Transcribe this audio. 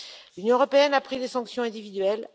L'Union européenne a pris des sanctions individuelles.